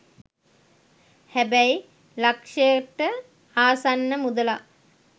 හැබැයි ලක්ෂයට ආසන්න මුදලක්